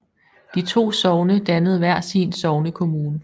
De to sogne dannede hver sin sognekommune